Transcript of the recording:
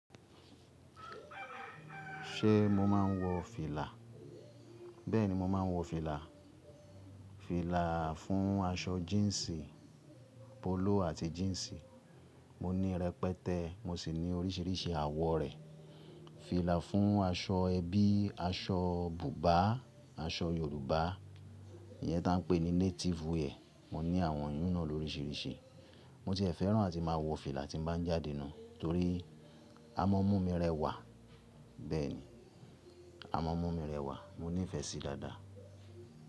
Ṣé mo máa ń wọ fìlà? Bẹ́ẹ̀ni, mo máa ń wọ fìlà. Fìlà fún aṣọ jíǹsì, polo àti jíǹsì. Mo ní rẹpẹtẹ, mo sì ní oríṣìíríṣìí àwọ̀ rẹ̀. Fìlà fún aṣọ ẹbí, aṣọ bùbá, aṣọ Yorùbá, ìyẹn táa ń pè ní Native wear. Mo ní àwọn iyún náà lórisìíríṣìí. Mo tì e fẹ́ràn àti máa wọ fìlà tí mo bá ń jáde inú torí a máa ń mú mi rẹwà. Bẹ́ẹ̀ni, a máa ń mú mi rẹwà. Mo nìfẹ́ sí i dáadáa.